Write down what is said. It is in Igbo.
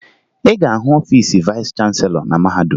Ị ga-ahụ ọfiisi vayịs chanselọ na mahadum